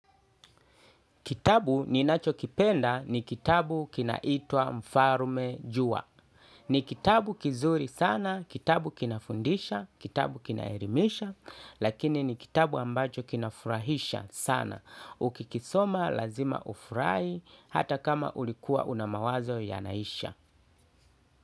Kitabu ninachokipenda ni kitabu kinaitwa Mfarume Jua. Ni kitabu kizuri sana, kitabu kinafundisha, kitabu kinaelimisha, lakini ni kitabu ambacho kinafurahisha sana. Ukikisoma lazima ufurahi hata kama ulikuwa una mawazo yanaisha.